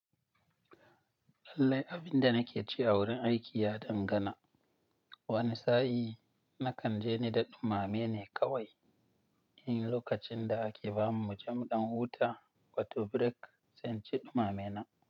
Lallai abinda nakeci a wurin aiki ya dangana. Wani sa'i nakanje nida ɗumamene kawai. In lokacin da ake bamu muje muɗan huta wato break, sai inci ɗumame na.